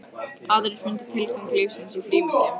Aðrir fundu tilgang lífsins í frímerkjum.